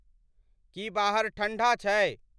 की बाहर ठंढा छै